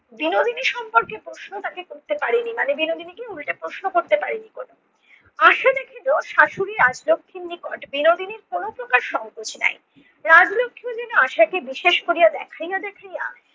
বিনোদিনী সম্পর্কে প্রশ্ন তাকে করতে পারে নি মানে বিনোদিনীকে উল্টে প্রশ্ন করতে পারে নি শাশুড়ি রাজলক্ষীর নিকট বিনোদিনীর কোনো প্রকার সংকোচ নাই। রাজলক্ষী যেন বিশেষ করিয়া আশাকে দেখাইয়া দেখাইয়া